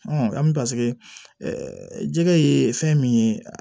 paseke jɛgɛ ye fɛn min ye